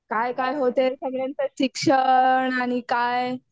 काय काय होते सगळ्यांचे शिक्षण आणि काय.